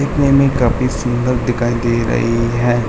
दिखने में काफी सुन्दर दिखाई दे रही है।